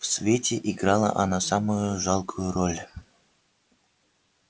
в свете играла она самую жалкую роль